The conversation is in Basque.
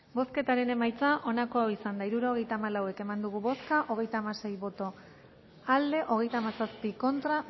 bozketaren emaitza onako izan da hirurogeita hamabost eman dugu bozka hogeita hamasei boto aldekoa hogeita hamazazpi contra